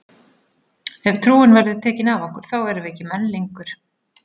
Ef trúin verður tekin af okkur þá erum við ekki menn lengur!